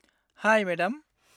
हाय मेडाम।